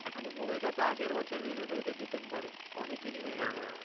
মানে এই movie টা তো আগের বছর realise হয়েছে december এ অনেক দিনই হয়ে গেছে